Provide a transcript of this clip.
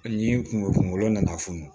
Ni kungo kungolo nana funu